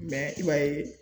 i b'a ye